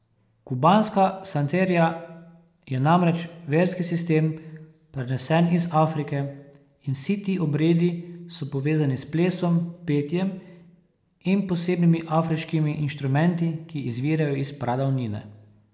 Kubanska santeria je namreč verski sistem, prenesen iz Afrike, in vsi ti obredi so povezani s plesom, petjem in posebnimi afriškimi inštrumenti, ki izvirajo iz pradavnine.